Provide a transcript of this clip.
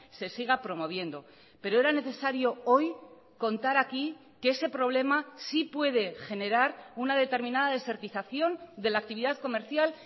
se siga promoviendo pero era necesario hoy contar aquí que ese problema sí puede generar una determinada desertización de la actividad comercial